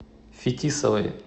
фетисовой